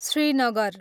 Srinagar